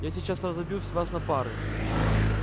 я сейчас разобьюсь вас на пары